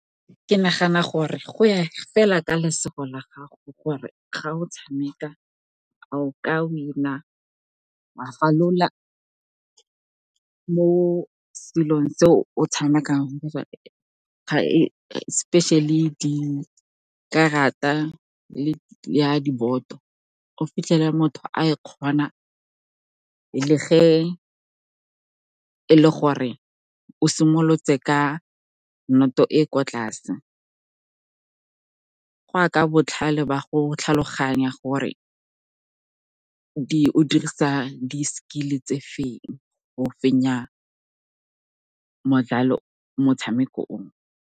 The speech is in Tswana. Ke nagana gore go ya fela ka lesego la gago, gore ga o tshameka a o ka wa falola mo selong se o tshamekang , especially dikarata le ya diboto. O fitlhela motho a e kgona le ge e le gore o simolotse ka noto e e kwa tlase. Go ya ka botlhale ba go tlhaloganya gore o dirisa di-skill-e tse feng go fenya motshameko o.